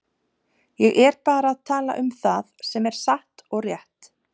Ég er bara að tala um það sem er satt og rétt.